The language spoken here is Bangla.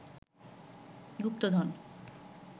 গুপ্তধন